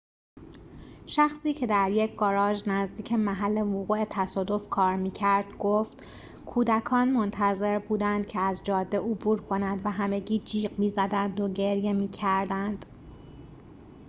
شخصی که در یک گاراژ نزدیک محل وقوع تصادف کار می‌کرد گفت کودکان منتظر بودند که از جاده عبور کنند و همگی جیغ می‌زدند و گریه می‌کردند